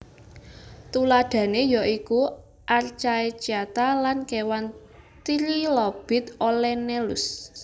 Tuladhané ya iku archaecyata lan kéwan Trilobit Olenellus